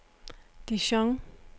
Dijon